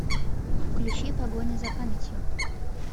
включи погоня за памятью